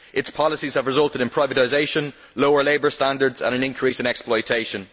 Its policies have resulted in privatisation, lower labour standards and an increase in exploitation.